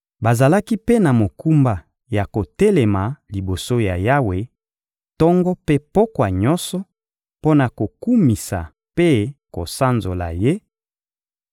Bazalaki mpe na mokumba ya kotelema liboso ya Yawe, tongo mpe pokwa nyonso, mpo na kokumisa mpe kosanzola Ye;